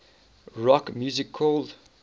rock music called